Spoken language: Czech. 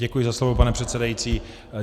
Děkuji za slovo, pane předsedající.